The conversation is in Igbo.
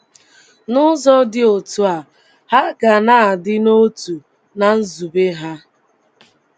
N’ụzọ dị otú a, ha ga na - adị n’otu ná nzube ha.